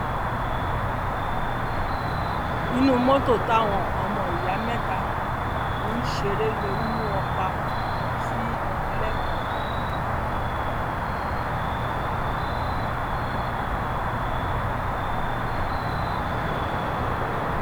inú mọtò táwọn ọmọ ìyá mẹta ti um ń ṣeré lóoru mú wọn pa um sí lẹkọọ